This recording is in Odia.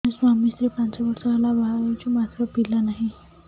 ଆମେ ସ୍ୱାମୀ ସ୍ତ୍ରୀ ପାଞ୍ଚ ବର୍ଷ ହେଲା ବାହା ହେଇଛୁ ମାତ୍ର ପିଲା ନାହିଁ